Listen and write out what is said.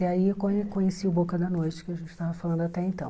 E aí eu conhe conheci o Boca da Noite, que a gente estava falando até então.